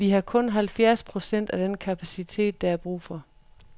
Vi har kun halvfjerds procent af den kapacitet, der er brug for.